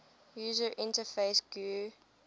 user interface gui